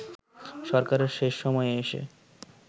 সরকারের শেষ সময়ে এসে